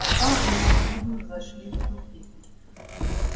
пока они всюду зашли в тупик